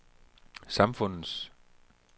samfundets